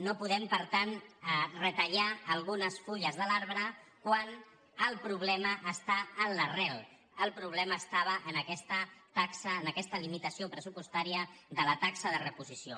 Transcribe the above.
no podem per tant retallar algunes fulles de l’arbre quan el problema està en l’arrel el problema estava en aquesta taxa en aquesta limitació pressupostària de la taxa de reposició